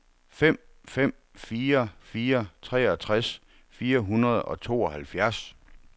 fem fem fire fire treogtres fire hundrede og tooghalvfjerds